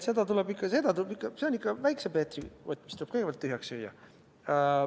See on ikka Väikse Peetri kott, mis tuleb kõigepealt tühjaks süüa.